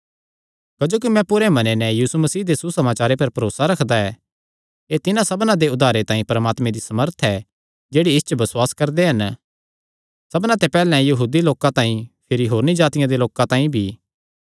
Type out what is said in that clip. क्जोकि मैं पूरे मने नैं यीशु मसीह दे सुसमाचारे पर भरोसा रखदा ऐ एह़ तिन्हां सबना दे उद्धारे तांई परमात्मे दी सामर्थ ऐ जेह्ड़े इस च बसुआस करदे हन सबना ते पैहल्ले यहूदी लोकां तांई भिरी होरनी जातिआं दे लोकां तांई भी